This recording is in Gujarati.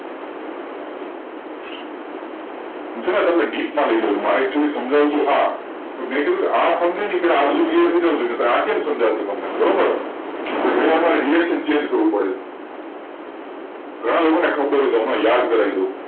હુ છુ તમને deep મા લઇ જવું મારે actually સમજાવું હતું આ મે કીધુ આ સમજાવી એ પહેલા આ બધુ clear થઇ જવું જોઈએ આ બધુ કેમ સમજાવે છે અમને બરોબર ગણીવાર reactionchange કરવુ પડયું ગણા લોકો ને યાદ કરાવી દઉં